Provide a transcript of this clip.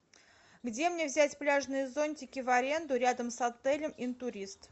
где мне взять пляжные зонтики в аренду рядом с отелем интурист